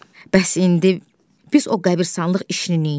Bəs indi biz o qəbiristanlıq işini neyləyək?